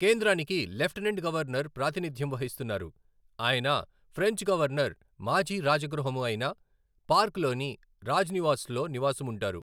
కేంద్రానికి lieutenant governor ప్రాతినిధ్యం వహిస్తున్నారు, ఆయన ఫ్రెంచ్ గవర్నర్ మాజీ రాజగృహము అయిన పార్క్ లోని రాజ్ నివాస్లో నివాసముంటారు.